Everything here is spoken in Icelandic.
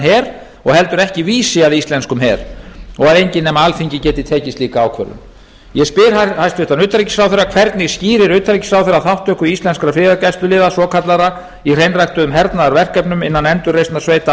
her og heldur ekki vísi að íslenskum her og að enginn nema alþingi geti tekið slíka ákvörðun ég spyr hæstvirts utanríkisráðherra fyrstu hvernig skýrir ráðherra þátttöku íslenskra friðargæsluliða svokallaðra í hernaðarverkefnum innan endurreisnarsveita alþjóðlega öryggisliðsins í afganistan í ljósi vopn og herleysisstefnu íslands hingað til öðru hverju sætir